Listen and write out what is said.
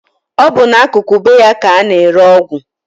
Ọ bụ n'akụkụ be ya ka a na-ere ọgwụ